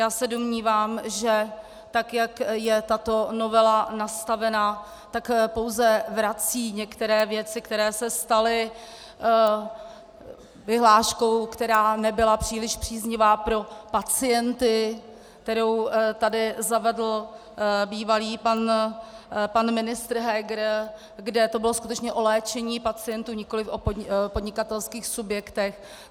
Já se domnívám, že tak jak je tato novela nastavena, tak pouze vrací některé věci, které se staly vyhláškou, která nebyla příliš příznivá pro pacienty, kterou tady zavedl bývalý pan ministr Heger, kde to bylo skutečně o léčení pacientů, nikoliv o podnikatelských subjektech.